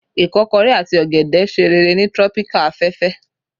ikokore ati ogede ṣe rere ni Tropical afefe